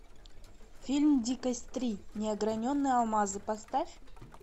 фильм дикость три неограненные алмазы поставь